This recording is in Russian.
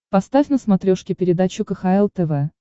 поставь на смотрешке передачу кхл тв